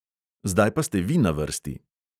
Zdaj pa ste vi na vrsti!